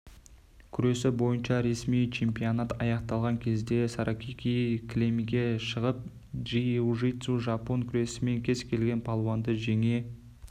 күресі бойынша ресми чемпионат аяқталған кезде саракики кілемге шығып джиу-джитсу жапон күресімен кез-келген палуанды жеңе